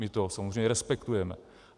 My to samozřejmě respektujeme.